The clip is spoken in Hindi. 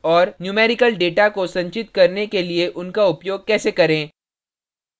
numerical data को संचित करने के लिए उनका उपयोग कैसे करें